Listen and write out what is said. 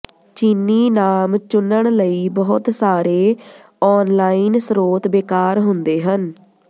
ਚੀਨੀ ਨਾਮ ਚੁਨਣ ਲਈ ਬਹੁਤ ਸਾਰੇ ਔਨਲਾਈਨ ਸਰੋਤ ਬੇਕਾਰ ਹੁੰਦੇ ਹਨ